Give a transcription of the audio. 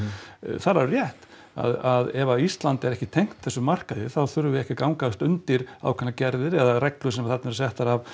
það er alveg rétt að ef Ísland er ekki tengt þessum markaði þá þurfum við ekki að gangast undir ákveðnar gerðir eða reglur sem þarna eru settar af